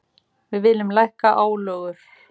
Við viljum lækka álögur.